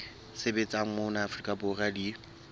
sebetsang mona afrika borwa di